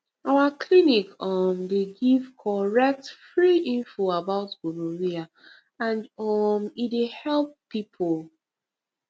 our clinic um dey give correct free info about gonorrhea and um e dey help people